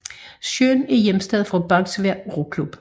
Søen er hjemsted for Bagsværd Roklub